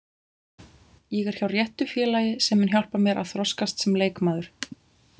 Ég er hjá réttu félagi sem mun hjálpa mér að þroskast sem leikmaður.